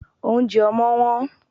Óunjẹ ọmọ́ wón